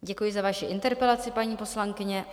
Děkuji za vaši interpelaci, paní poslankyně.